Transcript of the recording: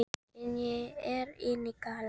En ég er enn í galla